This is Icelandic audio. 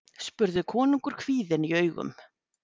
spurði konungur kvíðinn í augum.